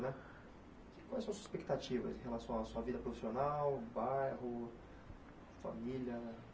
Né quais são suas expectativas em relação à sua vida profissional, bairro, família